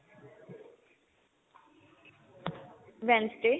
wednesday